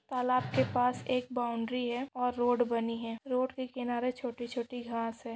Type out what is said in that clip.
तालाब के पास एक बाउंड्री है और रोड बनी है और रोड के किनारे छोटी छोटी घास है।